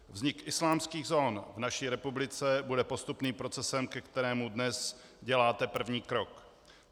Vznik islámských zón v naší republice bude postupným procesem, ke kterému dnes děláte první krok.